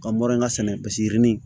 Ka mɔrɔ sɛnɛ paseke yirini